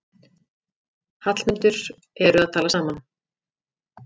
Hallmundur eru að tala saman.